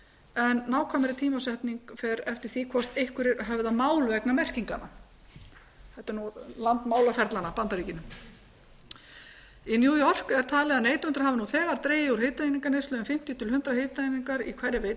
en nákvæmari tímasetning fer eftir því hvort einhverjir höfða mál vegna merkinganna þetta er land málaferlanna bandaríkin í new york er talið að neytendur hafi nú þegar dregið úr hitaeininganeyslu um fimmtíu til hundrað hitaeiningar í hverri